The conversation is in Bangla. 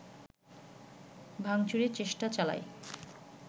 ভাংচুরের চেষ্টা চালায়